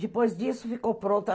Depois disso, ficou pronto.